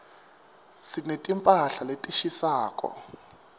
sineti mphahla letishisako